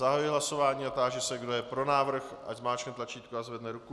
Zahajuji hlasování a táži se, kdo je pro návrh, ať zmáčkne tlačítko a zvedne ruku.